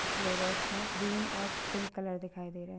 इस फ्लावर्स में ग्रीन और पिंक कलर दिखाई दे रहे--